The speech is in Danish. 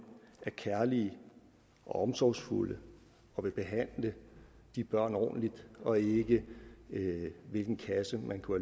er kærlige og omsorgsfulde og vil behandle de børn ordentligt og ikke hvilken kasse man kunne